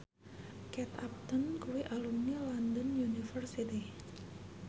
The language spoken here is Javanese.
Kate Upton kuwi alumni London University